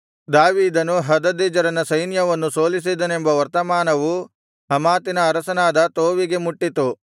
ದಾವೀದನು ಹದದೆಜೆರನ ಸೈನ್ಯವನ್ನು ಸೋಲಿಸಿದನೆಂಬ ವರ್ತಮಾನವು ಹಮಾತಿನ ಅರಸನಾದ ತೋವಿಗೆ ಮುಟ್ಟಿತು